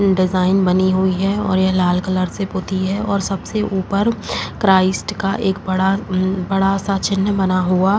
design बनी हुई है और ये लाल कलर से पोती है और सबसे ऊपर क्राइस्ट का एक बड़ा अम बड़ा -सा चिन्ह बना हुआ --